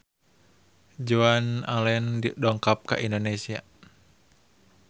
Joan Allen dongkap ka Indonesia